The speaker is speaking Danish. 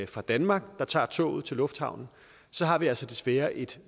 fra danmark der tager toget til lufthavnen så har vi altså desværre et